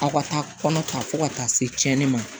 Aw ka taa kɔnɔ ta fo ka taa se tiɲɛni ma